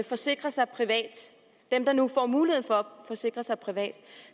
forsikre sig privat dem der nu får mulighed for at forsikre sig privat